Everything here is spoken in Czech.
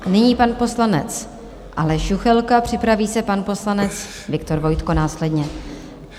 Nyní pan poslanec Aleš Juchelka, připraví se pan poslanec Viktor Vojtko následně.